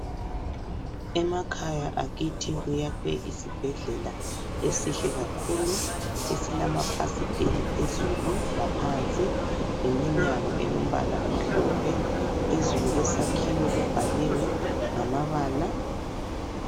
Emakhaya akithi kuyakhwe isibhedlela esihle kakhulu esilamafasiteli phezulu laphansi leminyango elombala omhlophe phezulu kwesakhiwo kubhaliwe ngamabala